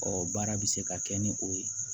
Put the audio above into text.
Ɔ baara bɛ se ka kɛ ni o ye